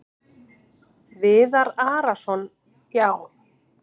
Viðar Arason: Já.